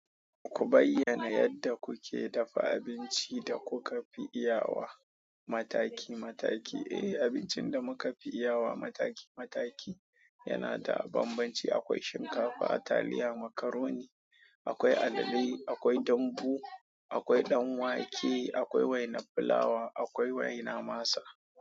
Ku bayyana yadda kuke dafa abincin da kuka fi iya wa mataki mataki. Eh abincin da muka fi iya wa mataki mataki yana da banbanci. Akwai shinkafa, talliya, macoron akwai allale akwai dambu akwai danwake akwai wainar flour akwai wainar masa.